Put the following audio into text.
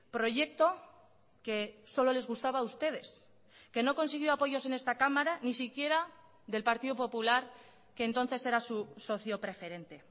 proyecto que solo les gustaba a ustedes que no consiguió apoyos en esta cámara ni siquiera del partido popular que entonces era su socio preferente